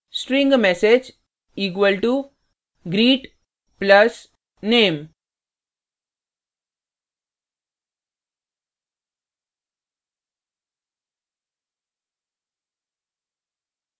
string msg equal to greet plus name ;